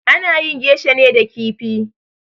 Ana yin geisha ne da kifi